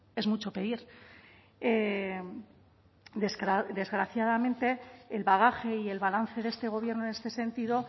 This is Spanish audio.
es mucho pedir desgraciadamente el bagaje y el balance de este gobierno en este sentido